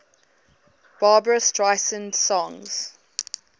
barbra streisand songs